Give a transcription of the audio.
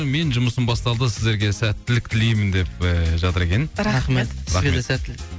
менің жұмысым басталды сіздерге сәттілік тілеймін деп ііі жатыр екен рахмет сізге де сәттілік